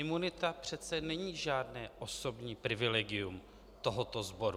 Imunita přece není žádné osobní privilegium tohoto sboru.